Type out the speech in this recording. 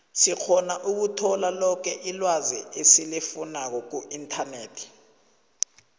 sikgona ukuthola loke ilwazi esilifunako kuinternet